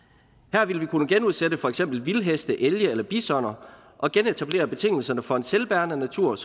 her vil vi kunne genudsætte for eksempel vildheste elge eller bisoner og genetablere betingelserne for en selvbærende natur